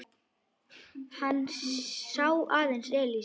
Hann sá aðeins Elísu.